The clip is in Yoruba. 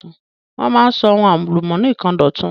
Wọ́n máa ń sọ àwọn ohun álùmónì kan dọ̀tun.